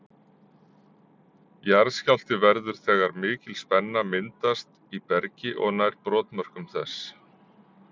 Jarðskjálfti verður þegar mikil spenna myndast í bergi og nær brotmörkum þess.